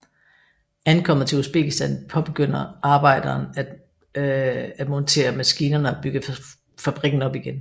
Ankommet til Usbekistan påbegynder arbejderen af montere maskinerne og bygge fabrikken op igen